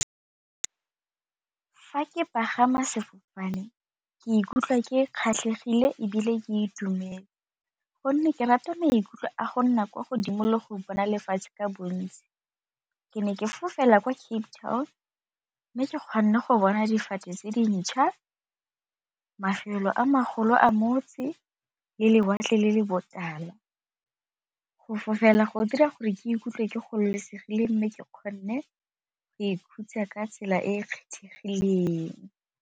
Fa ke pagama sefofane ke ikutlwa ke kgatlhegile ebile ke itumele gonne ke rata maikutlo a go nna kwa godimo le go bona lefatshe ka bontsi, ke ne ke fofela kwa Cape Town mme ke kgonne go bona difate tse dintšha, mafelo a magolo a motse, le lewatle le le botala go fofela go dira gore ke ikutlwe ke gololosegile mme ke kgonne go ikhutsa ka tsela e e kgethegileng.